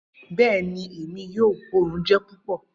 Bẹẹni, Emi yoo, oorun jẹ pupọ.